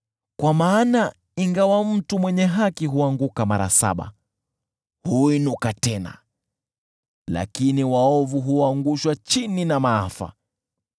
Kwa maana ingawa mtu mwenye haki huanguka mara saba, huinuka tena, lakini waovu huangushwa chini na maafa.